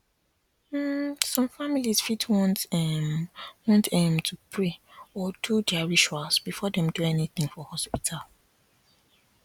um some families fit want um want um to pray or do their rituals before dem do anything for hospital